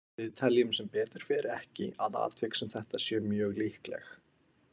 Við teljum sem betur fer ekki að atvik sem þetta séu mjög líkleg.